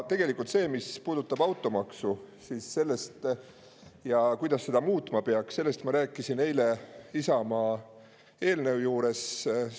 Tegelikult sellest, mis puudutab automaksu ja kuidas seda muutma peaks, ma rääkisin eile Isamaa eelnõu juures.